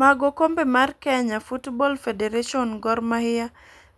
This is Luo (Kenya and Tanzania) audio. mag okombe mar Kenya Footbal Federation Gor Mahia